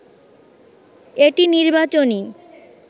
এটি নির্বাচনী